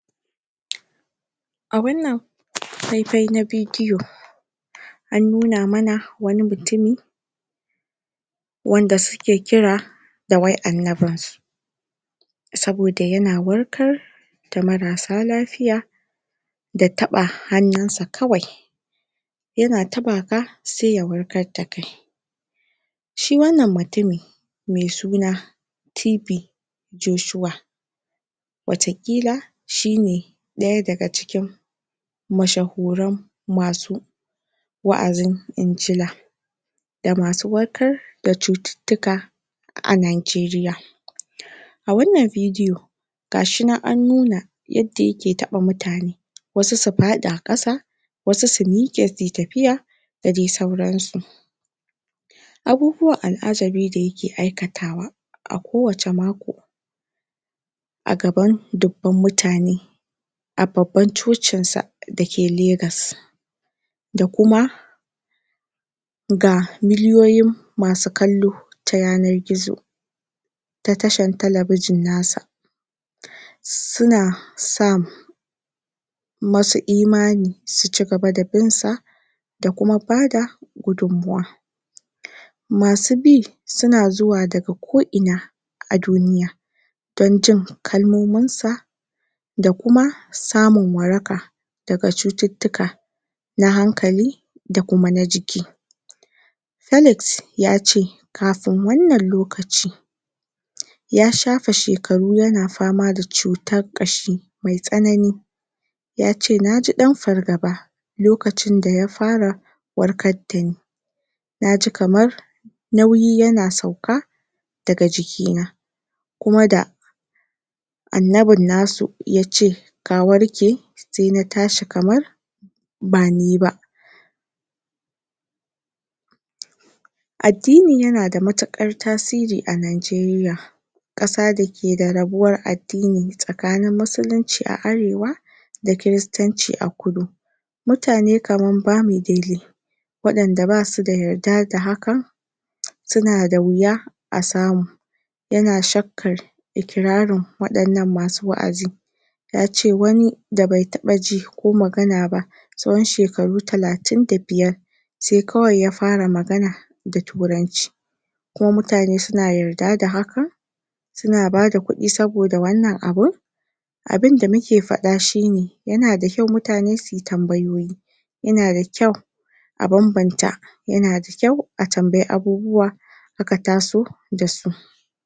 a wan nan fai-fai na bidiyo an nuna mana wani mutumi wan da suke kira da wai annabin su sabo da yana warkar da marar sa lafiya da taba hanun sa kawai yana tabaka sai ya warkar da kai shi wan nan mutumi mai suna TB Joshua wata kila shine daya da ga cikin mashahuren masu waazin inchila da masu warkar da tsutittika a Nigerira a wan nan bidiyo gashi nan a nuna yadda ya ke taba mutane wasu su fada kasa wasu su mike suyi tafiya da dai sauran su abubuwan al'ajabi da yake aikatawa a kowacce mako a gaban duban mutane a babban tsotsin sa da ke Lagoes da kuma ga miliyoyin ma su kallo ta yanan gizo ta tashan talabijin nasa su na son masu imani su ci gaba da bin sa da kuma bada gudunmawa masu bi su na zuwa da ga ko ina a duniya dan jin kalmomin sa da kuma samun waraka da ga tsutittika na hankali da kuma na jiki kalex ya ce kafin wan nan lokacin ya shafa shekaru yana fama da tsutan kashi kashi mai tsanani yace na ji dan fargaba lokacin da ya fara warkar da ni naji kamar nauyi yana sauka da ga jikna kuma da an nabin nasu yace ka warke sai na tashi kamar ba niba addini yana da matukar tasiri a Nigeria kasa da ke da rabuwan addinin tsakanin musulinci a arewa da kiristanci a kudu mutane kaman bamidele wayanda basuda yadda da hakan su na da huya a samu yana tsakkan ikirarin wayan nan masu waazin yace wani da bai taba ji ko magana ba tsahon shekaru talatin da biyar sai kawai ya fara magana da turanci kuma emutane suna yadda da hakan suna bada kudi sabo da wannan abun abun da muke fada shine yana da kyau mutane suyi tambayoyi yana da kyau a banbanta yana da kyau a tambayi abubuwa in aka taso da su